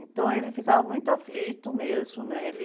Então ele ficava muito aflito mesmo, né? Ele...